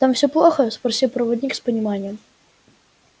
там все плохо спросил проводник с пониманием